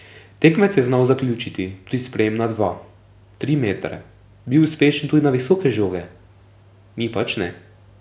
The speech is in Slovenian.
Tekmec je znal zaključiti tudi sprejem na dva, tri metre, bil uspešen tudi na visoke žoge, mi pač ne.